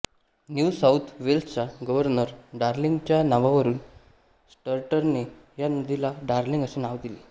new South वेल्सचा governor डार्लिंगच्या नावावरुन स्टर्टने या नदीला डार्लिंग असे नाव दिले